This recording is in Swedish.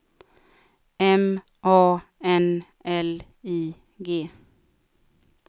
M A N L I G